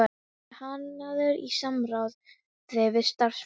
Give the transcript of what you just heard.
Hann er hannaður í samráði við starfsmenn